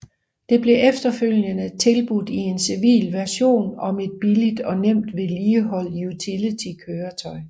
Det blev efterfølgende tilbudt i en civil version som et billigt og nemt vedligeholdt utility køretøj